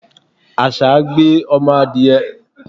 Àṣá gbé ọmọ adìẹ.